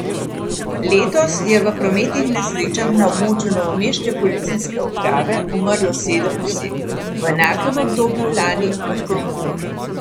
Letos je v prometnih nesrečah na območju novomeške policijske uprave umrlo sedem oseb, v enakem obdobju lani pa tri.